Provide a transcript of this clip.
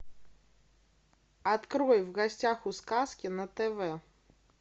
открой в гостях у сказки на тв